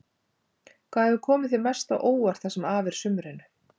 Hvað hefur komið þér mest á óvart það sem af er sumrinu?